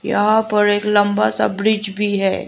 यहां पर एक लंबा सा ब्रिज भी है।